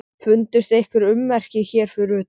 Fundust einhver ummerki hér fyrir utan?